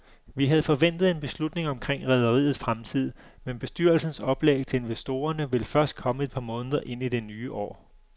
Vi havde forventet en beslutning omkring rederiets fremtid, men bestyrelsens oplæg til investorerne vil først komme et par måneder ind i det nye år.